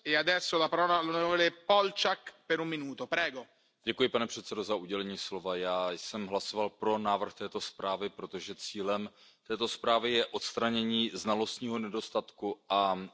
Pane předsedající, já jsem hlasoval pro návrh této zprávy, protože cílem zprávy je odstranění znalostního nedostatku a dosažení transparentnosti trhu.